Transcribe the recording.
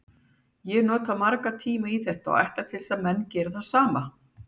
Ég nota marga tíma í þetta og ætlast til að menn geri það sama.